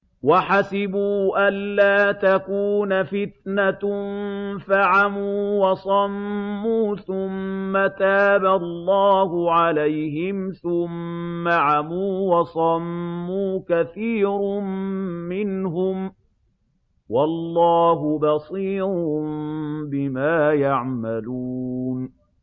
وَحَسِبُوا أَلَّا تَكُونَ فِتْنَةٌ فَعَمُوا وَصَمُّوا ثُمَّ تَابَ اللَّهُ عَلَيْهِمْ ثُمَّ عَمُوا وَصَمُّوا كَثِيرٌ مِّنْهُمْ ۚ وَاللَّهُ بَصِيرٌ بِمَا يَعْمَلُونَ